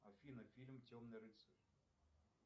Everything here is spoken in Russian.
афина фильм темный рыцарь